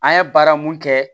An ye baara mun kɛ